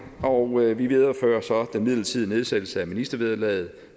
og vi viderefører så den midlertidige nedsættelse af ministervederlaget